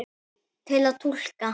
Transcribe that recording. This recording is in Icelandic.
Til að túlka